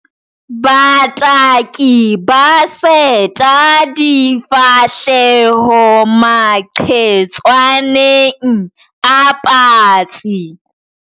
Bataki ba seta difahleho maqhetswaneng a patsi.